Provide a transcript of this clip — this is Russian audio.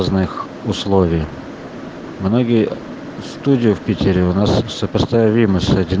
условие многие студию в питере в сопоставимых